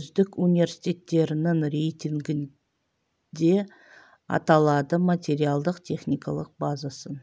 үздік университеттерінің рейтингінде аталады материалдық-техникалық базасын